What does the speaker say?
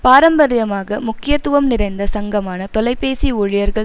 பாரம்பரியமாக முக்கியத்துவம் நிறைந்த சங்கமான தொலைபேசி ஊழியர்கள்